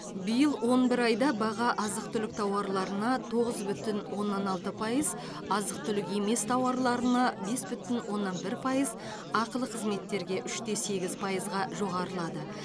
биыл он бір айда баға азық түлік тауарларына тоғыз бүтін оннан алты пайыз азық түлік емес тауарларына бес бүтін оннан бір пайыз ақылы қызметтерге үш те сегіз пайызға жоғарылады